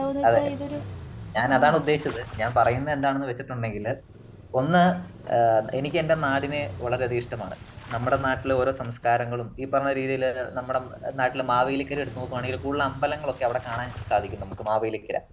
അതേ .ഞാൻ അതാണ് ഉദ്ദേശിച്ചത് . ഞാൻ പറയുന്നത് എന്താണെന്ന് വച്ചിട്ടുണ്ടെങ്കിൽ , ഒന്ന് എനിക്കെന്റെ നാടിനെ വളരെ അധികം ഇഷ്ടമാണ് . നമ്മുടെ നാട്ടിലെ ഓരോ സംസ്കാരങ്ങളും , ഈ പറഞ്ഞ രീതിയില് നമ്മുടെ നാട്ടില് മാവേലിക്കര എടുത്തു നോക്കുകയാണെന്നുണ്ടെങ്കിൽ കൂടുതൽ അമ്പലങ്ങൾ ഒക്കെ അവിടെ കാണാൻ സാധിക്കും നമുക്ക് മാവേലിക്കര.